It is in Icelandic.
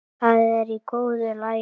Það er í góðu lagi.